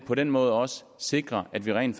på den måde også sikrer at vi rent